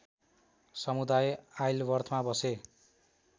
समुदाय आइलवर्थमा बसे